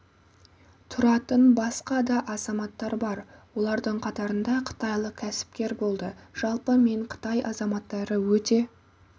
тұратын басқа да азаматтар бар олардың қатарында қытайлық кәсіпкер болды жалпы мен қытай азаматтары өте